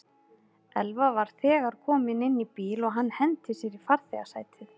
Elva var þegar kominn inn í bíl og hann henti sér í farþegasætið.